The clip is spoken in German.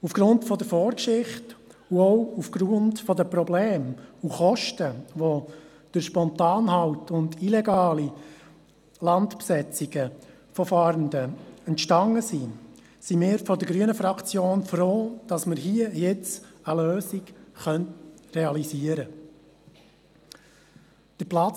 Aufgrund der Vorgeschichte und auch aufgrund der Probleme und Kosten, die durch spontane Halte und illegale Landbesetzungen von Fahrenden entstanden sind, sind wir von der grünen Fraktion froh, dass wir nun hier eine Lösung realisieren können.